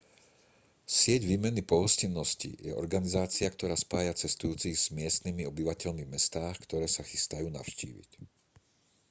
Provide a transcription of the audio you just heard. sieť výmeny pohostinnosti je organizácia ktorá spája cestujúcich s miestnymi obyvateľmi v mestách ktoré sa chystajú navštíviť